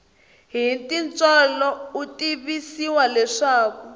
hi tintswalo u tivisiwa leswaku